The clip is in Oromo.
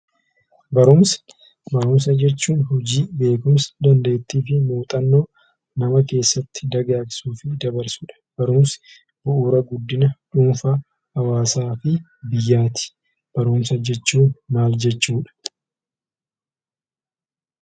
Barumsa. Barumsa jechuun hojii, beekumsa, dandeettiifi muuxannoo nama keessatti dagaagsuufi dabarsudha. Barumsi bu'uura guddina dhuunfaa, hawaasaa fi biyyaati. Barumsa jechuun maal jechuudha?